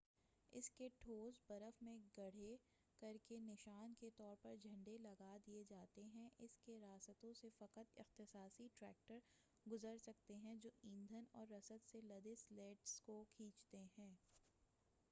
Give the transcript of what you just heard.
اس کے ٹھوس برف میں گڈھے کرکے نشا ن کے طور پر جھنڈے لگا دئے جاتے ہیں اس کے راستوں سے فقط اختصاصی ٹریکٹر گزر سکتے ہیں جو ایندھن اور رسد سے لدے سلیڈ س کو کھینچتے ہیں